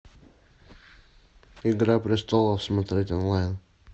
игра престолов смотреть онлайн